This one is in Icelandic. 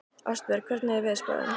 Ástbjörg, hvernig er veðurspáin?